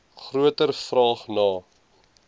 groter vraag na